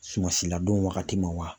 Suman si ladon wagati ma wa ?